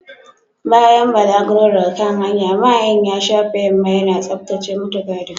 Bayan balaguron daga kan hanya, mahayin ya shafe yamma yana tsaftace mutigadin.